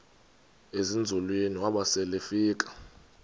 ezinzulwini waba selefika